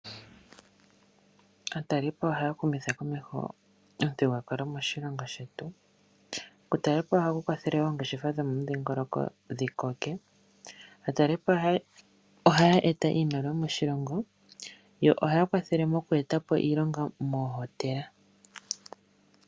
Aatalelipo ohaya humitha komeho omuthigululwakalo moshilongo shetu. Okutalelapo ohaku kwathele oongeshefa dhomomudhingoloko dhi koke . Aatalelipo ohaya eta iimaliwa moshilongo yo ohaya kwathele moku eta po iilonga mohotela.